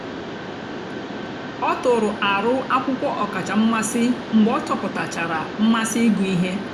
ọ tụ̀rù àrụ́ akwụ́kwọ́ ọ̀kàchà mmasị́ mgbe ọ chọ̀pụ̀tàchàra mmásị́ ịgụ́ ihe.